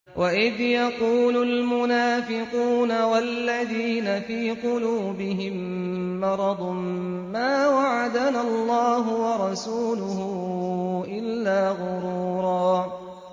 وَإِذْ يَقُولُ الْمُنَافِقُونَ وَالَّذِينَ فِي قُلُوبِهِم مَّرَضٌ مَّا وَعَدَنَا اللَّهُ وَرَسُولُهُ إِلَّا غُرُورًا